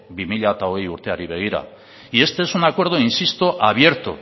bi mila hogei urteari begira y este es un acuerdo insisto abierto